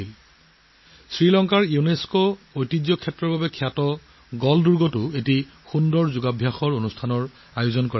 শ্ৰীলংকাৰ ইউনেস্ক' ঐতিহ্য ক্ষেত্ৰৰ বাবে বিখ্যাত গোল ফ'ৰ্টতো স্মৰণীয় যোগাসন অধিবেশন অনুষ্ঠিত হৈছিল